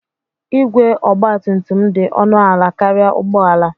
Igwe Ogba tum tum dị ọnụ ala karịa ụgbọ ala.